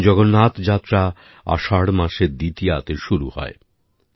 ভগবান জগন্নাথ যাত্রা আষাঢ় মাসের দ্বিতীয়াতে শুরু হয়